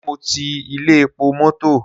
Ṣé mo ti ilé epo mọ́tọ̀?